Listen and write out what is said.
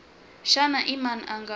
xana i mani a nga